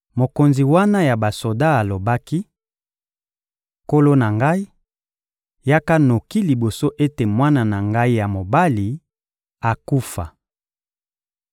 Mokonzi wana ya basoda alobaki: — Nkolo na ngai, yaka noki liboso ete mwana na ngai ya mobali akufa.